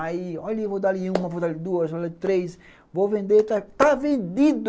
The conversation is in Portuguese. Aí, olha, eu vou dar ali uma, vou dar ali duas, vou dar ali três, vou vender, está vendido.